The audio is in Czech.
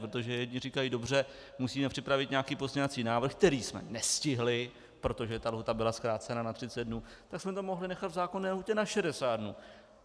Protože jedni říkají dobře, musíme připravit nějaký pozměňovací návrh, který jsme nestihli, protože ta lhůta byla zkrácena na 30 dnů, tak jsme to mohli nechat v zákonné lhůtě na 60 dnů.